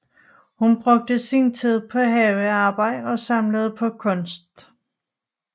Hun brugte sin tid på havearbejde og samlede på kunst